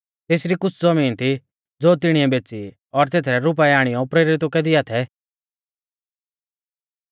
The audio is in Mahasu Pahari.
तेसरी कुछ़ ज़बीन थी ज़ो तिणीऐ बेच़ी और तेथरै रुपाऐ आणियौ प्रेरितु कै दिया थै